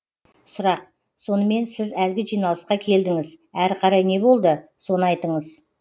сұрақ сонымен сіз әлгі жиналысқа келдіңіз әрі қарай не болды соны айтыңыз